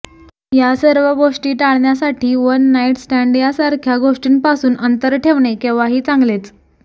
या सर्व गोष्टी टाळण्यासाठी वन नाइट स्टँड यासारख्या गोष्टींपासून अंतर ठेवणे केव्हाही चांगलेच